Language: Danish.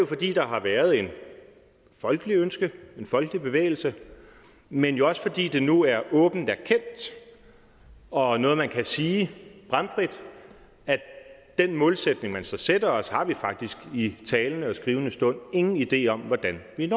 fordi der har været et folkeligt ønske en folkelig bevægelse men jo også fordi det nu er åbent erkendt og noget man kan sige bramfrit at den målsætning man så sætter os har vi faktisk i talende og skrivende stund ingen idé om hvordan vi